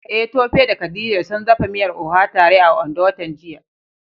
Eh Tope da Khadija sun dafa miyar Oha tare a Ondo watan jiya.